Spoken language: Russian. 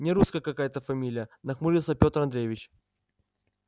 нерусская какая-то фамилия нахмурился петр андреевич